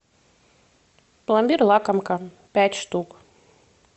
пломбир лакомка пять штук